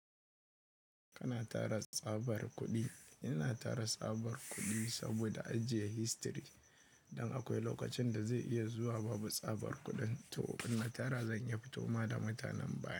Kana tara tsabar kuɗi? Ina tara tsabar kuɗi saboda ajiye history. Don akwai lokacin da zai iya zuwa babu tsabar kuɗin. To inna tara zan iya fitowa da mutanen baya.